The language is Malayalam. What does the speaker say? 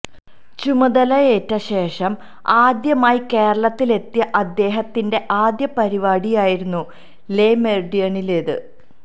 ചുമതലയേറ്റ ശേഷം ആദ്യമായി കേരളത്തിലെത്തിയ അദ്ദേഹത്തിന്റെ ആദ്യ പരിപാടിയായിരുന്നു ലെ മെറിഡിയനിലേത്